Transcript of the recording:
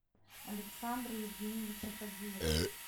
александра евгеньевича фадеева